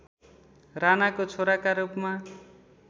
रानाको छोराका रूपमा